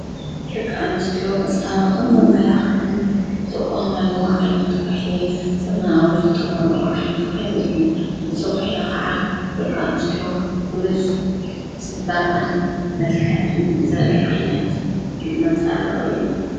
ድቂ ኣኖስትዎ መጻባቕን ማላኽዕን ብጥቁ ማሉዎ ዓይነት ዂሕሊ ዘመናዊ ዝተምልዉ ዓይነት ኲሕሊ እዩ እዝዂሕለ ኸዓ በቃ ኣነስትዎ ብሉጽ ጽበቕን መልከአን ዘሪ ዓይነት መጻቕ እዩ።